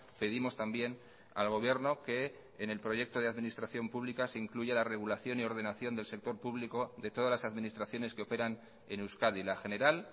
pedimos también al gobierno que en el proyecto de administración pública se incluya la regulación y ordenación del sector público de todas las administraciones que operan en euskadi la general